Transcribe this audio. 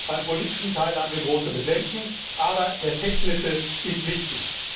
Beim politischen Teil haben wir große Bedenken, aber der technische Teil ist wichtig.